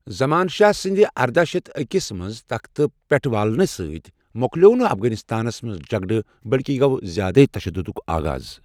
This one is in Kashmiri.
زمان شاہ سنٛدِ ارداہ شیتھ أکس منٛز تختہٕ پٮ۪ٹھٕ والنہٕ سۭتۍ مۄکلیوو نہٕ افغانِستانس منٛز جگڑٕ بٔلکہِ گوٚو زیادٕے تشَددُک آغاز۔